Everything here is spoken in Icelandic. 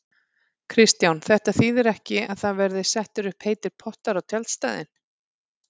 Kristján: Þetta þýðir ekki að það verði settir upp heitir pottar á tjaldstæðin?